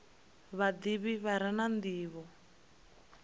vhadivhi vha re na ndivho